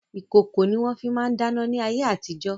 Ìkòkò ni wọ́n fi máa ń dáná ní ayé àtijo.